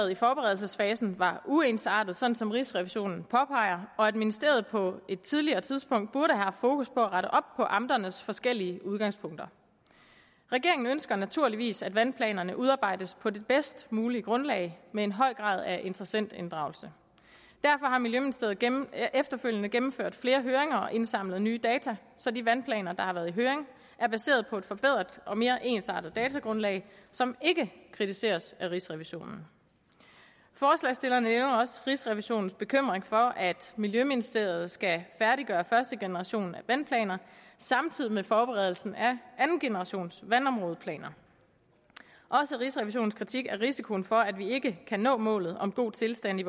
i forberedelsesfasen var uensartet sådan som rigsrevisionen påpeger og at ministeriet på et tidligere tidspunkt burde have haft fokus på at rette op på amternes forskellige udgangspunkter regeringen ønsker naturligvis at vandplanerne udarbejdes på det bedst mulige grundlag med en høj grad af interessentinddragelse derfor har miljøministeriet efterfølgende gennemført flere høringer og indsamlet nye data så de vandplaner der har været i høring er baseret på et forbedret og mere ensartet datagrundlag som ikke kritiseres af rigsrevisionen forslagsstillerne nævner også rigsrevisionens bekymring for at miljøministeriet skal færdiggøre første generation af vandplaner samtidig med forberedelsen af anden generations vandområdeplaner også rigsrevisionens kritik af risikoen for at vi ikke kan nå målet om god tilstand i